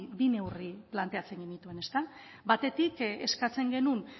bi neurri planteatzen genituen batetik eskatzen genuen